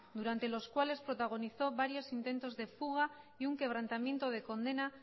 durante los cuales protagonizó varios intentos de fuga y un quebrantamiento de condena